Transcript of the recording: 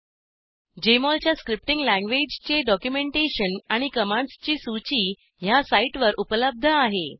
Jmol च्या scripting लॅंग्वेजचे documentation आणि कमांड्सची सूची ह्या साईटवर उपलब्ध आहे